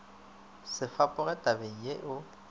se fapoge tabeng ye o